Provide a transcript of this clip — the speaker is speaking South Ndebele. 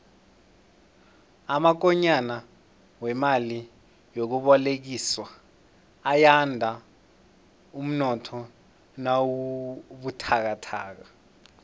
amakonyana wemali yokubolekiswa ayanda umnotho nawubuthakathaka